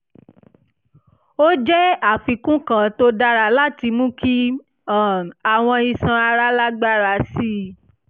ó jẹ́ àfikún kan tó dára láti mú kí um àwọn iṣan ara lágbára sí i